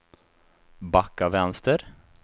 backa vänster